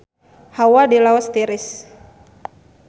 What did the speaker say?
Hawa di Laos tiris